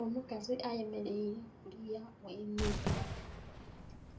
Omukazi ayemeraire kuliya ghenhumba,